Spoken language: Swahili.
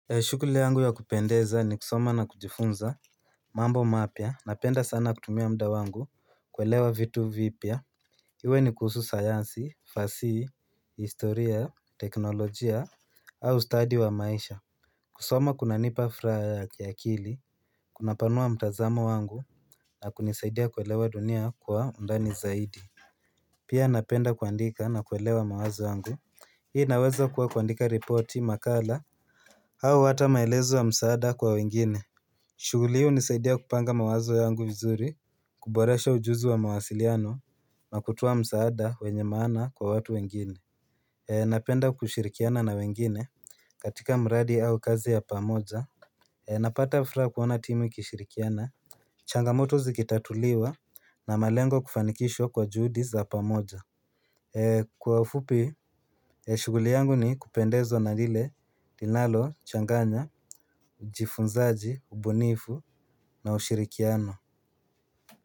Ya shukuli yangu ya kupendeza ni kusoma na kujifunza mambo mapya napenda sana kutumia mda wangu kuelewa vitu vipya Iwe ni kuhusu sayansi, fasihi, historia, teknolojia, au study wa maisha kusoma kunanipa fraha ya kiakili, kunapanua mtazamo wangu na kunisaidia kuelewa dunia kwa undani zaidi Pia napenda kuandika na kuelewa mawazo yangu Hii inaweza kuwa kuandika ripoti makala au hata maelezo ya msaada kwa wengine shuguli hii hunisaidia kupanga mawazo yangu vizuri kuboresha ujuzi wa mawasiliano na kutoa msaada wenye maana kwa watu wengine Napenda kushirikiana na wengine katika mradi au kazi ya pamoja Napata fraa kuona timu ikishirikiana changamoto zikitatuliwa na malengo kufanikishwa kwa juudi za pamoja Kwa ufupi ee shuguli yangu ni kupendezwa na lile linalo changanya ujifunzaji ubunifu na ushirikiano.